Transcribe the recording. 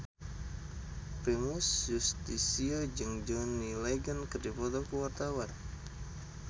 Primus Yustisio jeung John Legend keur dipoto ku wartawan